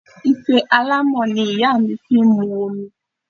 Ife alámọ̀ ni ìyá mi fi mu omi